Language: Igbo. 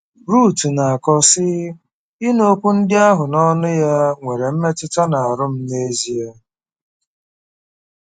Ruth na-akọ, sị: “Ịnụ okwu ndị ahụ n’ọnụ ya nwere mmetụta n’ahụ́ m n’ezie.”